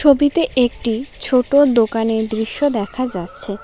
ছবিতে একটি ছোট দোকানের দৃশ্য দেখা যাচ্ছে।